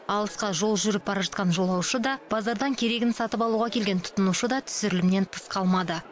алысқа жол жүріп бара жатқан жолаушы да базардан керегін сатып алуға келген тұтынушы да түсірілімнен тыс қалмады